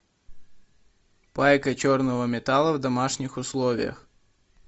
пайка черного металла в домашних условиях